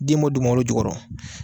Den mɔ dugumakolo jukɔrɔ.